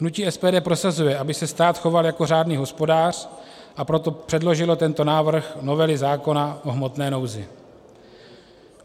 Hnutí SPD prosazuje, aby se stát choval jako řádný hospodář, a proto předložilo tento návrh novely zákona o hmotné nouzi.